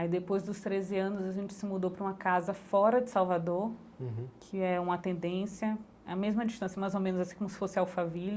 Aí depois dos treze anos a gente se mudou para uma casa fora de Salvador, que é uma tendência, a mesma distância, mais ou menos assim como se fosse Alphaville.